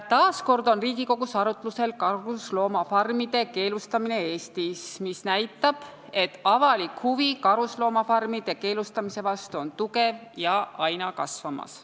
Taas kord on Riigikogus arutlusel karusloomafarmide keelustamine Eestis, mis näitab, et avalik huvi karusloomafarmide keelustamise vastu on tugev ja aina kasvamas.